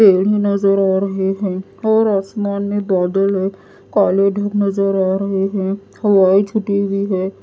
पेड़ ही नजर आ रहे हैं और आसमान में बादल है काले धूप नजर आ रहे हैं हवाएं छुट्टी हुई है।